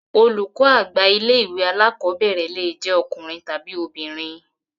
Olùkọ́ àgbà ilé ìwé alákọ̀berẹ̀ le jẹ ọkùnrin tàbi obìnrin.